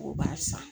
O b'a san